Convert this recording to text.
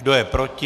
Kdo je proti?